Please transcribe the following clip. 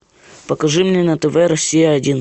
покажи мне на тв россия один